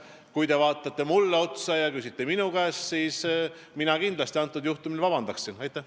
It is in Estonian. Kui te vaatate otsa mulle ja küsite minu käest, siis mina kindlasti antud juhul paluksin vabandust.